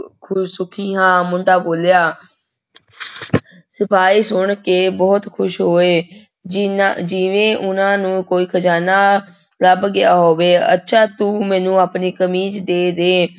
ਸੁਖੀ ਹਾਂ ਮੁੰਡਾ ਬੋਲਿਆ ਸਿਪਾਹੀ ਸੁਣ ਕੇ ਬਹੁਤ ਖ਼ੁਸ਼ ਹੋਏ, ਜਿੰਨਾ ਜਿਵੇਂ ਉਹਨਾਂ ਨੂੰ ਕੋਈ ਖ਼ਜਾਨਾ ਲੱਭ ਗਿਆ ਹੋਵੇ, ਅੱਛਾ ਤੂੰ ਮੈਨੂੰ ਆਪਣੀ ਕਮੀਜ਼ ਦੇ ਦੇ।